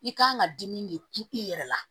I kan ka dimi de kumu i yɛrɛ la